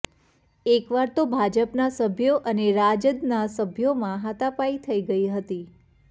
એક વાર તો ભાજપના સભ્યો અને રાજદના સભ્યોમાં હાથાપાઈ થઈ ગઈ હતી